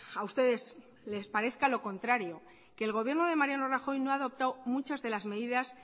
a ustedes les parezca lo contrario que el gobierno de mariano rajoy no ha adoptado muchas de las medidas